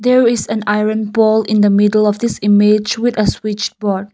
there is an iron pole in the middle of this image with a switch board.